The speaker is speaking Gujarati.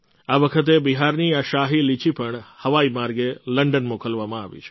આ વખતે બિહારની આ શાહી લીચી પણ હવાઈ માર્ગે લંડન મોકલવામાં આવી છે